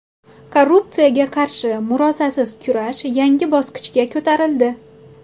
Korrupsiyaga qarshi murosasiz kurash yangi bosqichga ko‘tarildi.